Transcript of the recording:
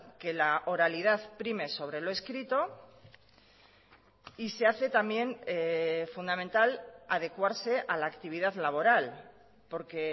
que la oralidad prime sobre lo escrito y se hace también fundamental adecuarse a la actividad laboral porque